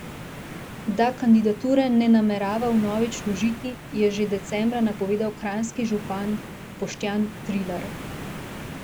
Da kandidature ne namerava vnovič vložiti, je že decembra napovedal kranjski župan Boštjan Trilar.